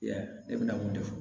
I y'a ye ne bɛna mun de fɔ